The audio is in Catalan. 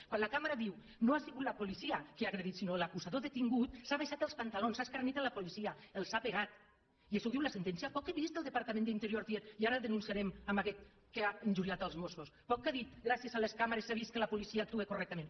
quan la càmera diu que no ha sigut la policia que ha agredit sinó l’acusador detingut s’ha abaixat els panta·lons s’ha escarnit la policia els ha pegat i això ho diu la sentència poc que he vist el departament d’interior dient i ara denunciarem aquest que ha injuriat els mos·sos poc que ha dit gràcies a les càmeres s’ha vist que la policia actua correctament